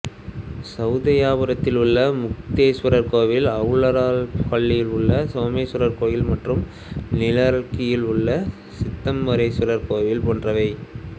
சௌதையாதானபுரத்தில் உள்ள முக்தேசுவரர் கோயில் அரலஹள்ளியில் உள்ள சோமேசுவரர் கோயில் மற்றும் நிரல்கியில் உள்ள சித்தராமேசுவரர் கோயில் போன்றவை